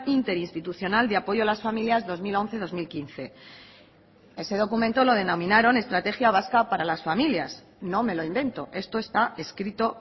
interinstitucional de apoyo a las familias dos mil once dos mil quince ese documento lo denominaron estrategia vasca para las familias no me lo invento esto está escrito